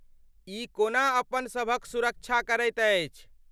ई कोना अपन सभक सुरक्षा करैत अछि?